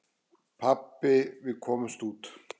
Pabbi, við komumst út!